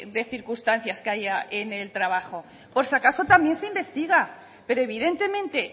de circunstancias que haya en el trabajo por si acaso también se investiga pero evidentemente